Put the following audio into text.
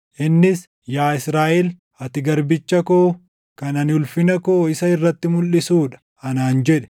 Innis, “Yaa Israaʼel, ati garbicha koo kan ani ulfina koo isa irratti mulʼisuu dha” anaan jedhe.